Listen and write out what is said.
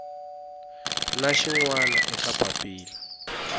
na xin wana eka papila